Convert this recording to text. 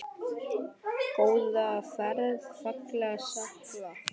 Góða ferð, fagra sál.